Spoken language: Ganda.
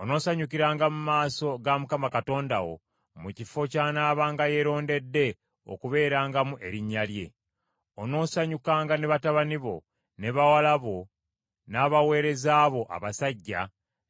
Onoosanyukiranga mu maaso ga Mukama Katonda wo mu kifo ky’anaabanga yeerondedde okubeerangamu Erinnya lye. Onoosanyukanga ne batabani bo, ne bawala bo, n’abaweereza bo abasajja,